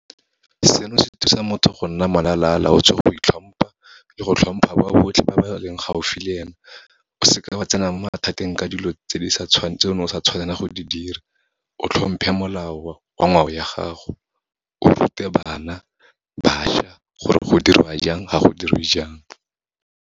Seno se thusa motho go nna molalalaotswe, go itlhompha, le go tlhompha ba botlhe ba ba leng gaufi le ene. O seke wa tsena mo mathateng ka dilo tse ne o sa tshwanela go di dira, o tlhomphe molao wa ngwao ya gago, o rute bana, bašwa, gore go dirwa jang ga go diriwe jang.